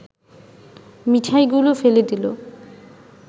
মিঠাইগুলো ফেলে দিল